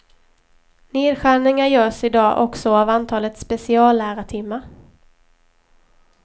Nedskärningar görs i dag också av antalet speciallärartimmar.